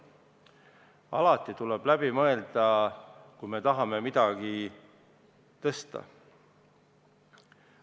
Alati tuleb läbi mõelda, kui me tahame midagi tõsta.